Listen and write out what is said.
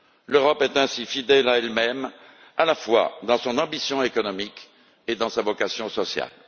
L'Europe est ainsi fidèle à elle même, à la fois dans son ambition économique et dans sa vocation sociale.